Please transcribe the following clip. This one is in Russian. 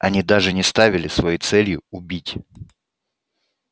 они даже не ставили своей целью убить